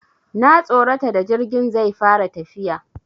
Na tsorata da jirgin zai fara tafiya.